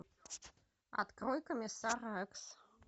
открой комиссар рекс